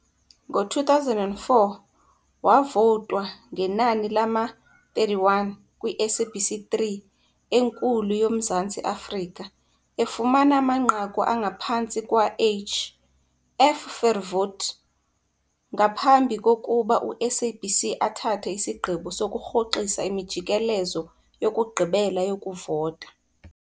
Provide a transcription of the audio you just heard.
Ngo-2004, wavotwa ngenani lama-31 kwi-SABC3 enkulu yoMzantsi Afrika, efumana amanqaku angaphantsi kwaH. F. Verwoerd, ngaphambi kokuba uSABC athathe isigqibo sokurhoxisa imijikelezo yokugqibela yokuvota.